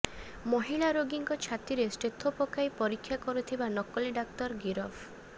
ମହିଳା ରୋଗୀଙ୍କ ଛାତିରେ ଷ୍ଟେଥୋ ପକାଇ ପରୀକ୍ଷା କରୁଥିବା ନକଲି ଡାକ୍ତର ଗିରଫ